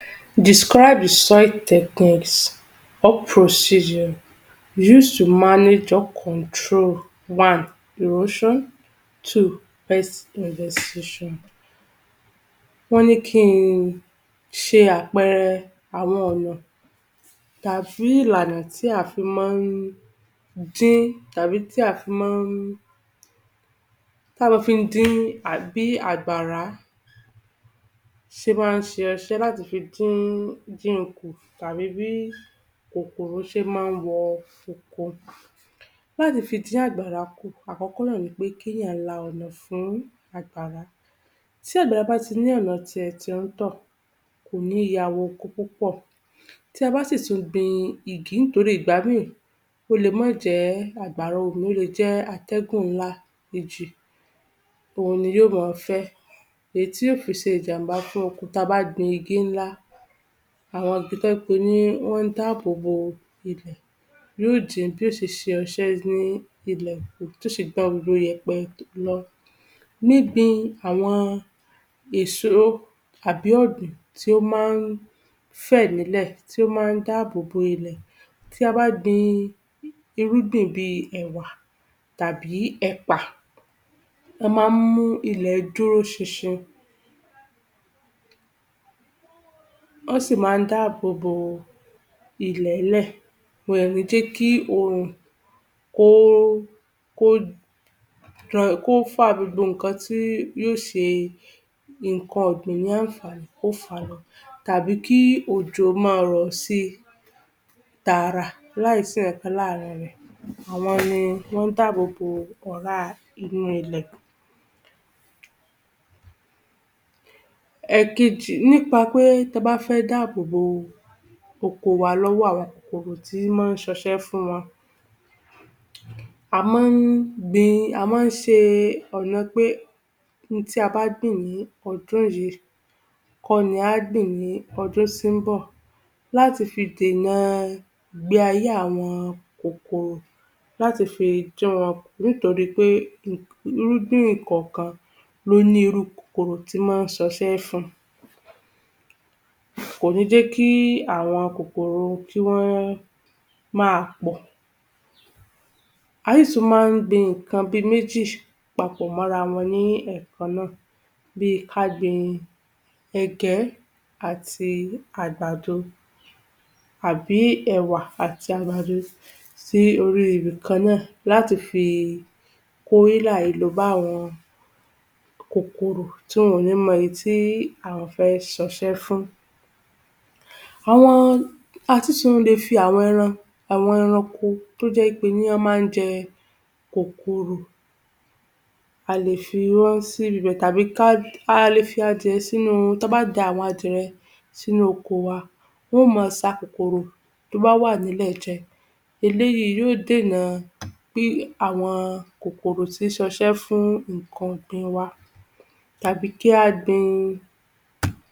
Wọ́n ní kí ṣe àpẹẹrẹ àwọn ọ̀nà tàbí ìlànà tí a fi máa dín tàbí tí a máa fi tá má fi dín bí àgbàrá ṣe má ṣe ọṣẹ́ láti fi dín dín kù tàbí bí kòkòrò ṣé máa wọ oko. Láti fi dín àgbàrá kù, àkọ́kọ́ náà ní pé kí èèyàn la ọ̀nà fún àgbàrá, tí àgbàrá bá tí ní ọ̀nà tí ẹ̀ tí ó tọ̀, kò ní ya wọ oko púpọ̀. Tí a bá sì tún gbin igi torí ìgbà ìmí ó lè má jẹ́ àgbàrá omi, ó lè jẹ́ atẹ́gùn ńlá, ìjì, òun ni yóò máa fẹ́, èyí tí yóò fi ṣe ìjàmbá fún oko, tí a bá gbin igi ńlá, àwọn igi tó jẹ́ pé wọn dáàbò bò ilẹ̀, yóò dín bí yóò ṣe ọṣẹ́ ní ilẹ̀ kù, bí yóò ṣe gbọ̀n gbogbo ìyẹ̀pè lọ. Níbi àwọn èso tàbí ọ̀gbìn tí ó máa fẹ̀ nílẹ̀, tí ó máa dáàbò bò ilẹ̀. Tí a bá gbin irúgbìn bí ẹ̀wà tàbí ẹ̀pà, wọn máa mú kí ilẹ̀ dúró ṣinṣin. wọ́n sì máa dáàbò bò ilẹ̀ẹ́lẹ̀, wọn ò ní jẹ́ kí oòrùn kó kó kó fá gbogbo nǹkan tí yóò ṣe nǹkan ọ̀gbìn ní àǹfààní, kí ó fá lọ tàbí kí òjò máa rọ̀ sí tààrà láìsí ǹkankan láàárín rẹ̀, àwọn ni wọn dáàbò bò ọ̀rá inú ilẹ̀. Ẹ̀kejì, nípa pé tí ẹ bá fẹ́ dáàbò bò oko wa lọ́wọ́ àwọn kòkòrò tí má ṣe ọṣẹ́ fún wọn, a máa gbin, a máa ṣe ọ̀nà pé ohun tí a bá gbin ní ọjọ́ yìí kò ní a ó gbin ní ọjọ́ tí bọ̀ láti fi dènà ìgbé ayé àwọn kòkòrò, láti fi dín wọn kù, nítorí pé irúgbìn kọ̀ọ̀kan ló ní irú kòkòrò tí má ṣe ọṣẹ́ fún un. Kò ní jẹ́ kí àwọn kòkòrò tí wọ́n máa pọ̀. A tún sì máa gbin nǹkan bí méjì papọ̀ mó ara wọn lẹ́ẹ̀kan náà, bí ká gbin ẹ̀gẹ́ àti àgbàdo àbí ẹwà àti àgbàdo sí orí ibikan náà láti fi kó ílàìlo bá àwọn kòkòrò tí wọn ò ní mọ èyí tí àwọn fẹ́ ṣe ọṣẹ́ fún. Àwọn, a tún lè fi àwọn ẹran, àwọn ẹranko tí ó jẹ́ wí pé ní wọ́n máa jẹ kòkòrò, a lè fi wọn síbi bẹ̀, tàbí kí a, a lè fi àwọn adìẹ sínú, tí a bá da àwọn adìẹ sínú oko wa, wọn máa ṣa kòkòrò tí ó bá wà ní ilẹ̀ jẹ, eléyìí yóò dènà bí àwọn kòkòrò tí ṣe ọṣẹ́ fún nǹkan ọ̀gbìn wa tàbí kí a gbin